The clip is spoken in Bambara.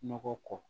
Nɔgɔ kɔ